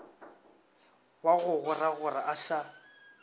wa go goragora a sa